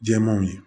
Jɛmanw ye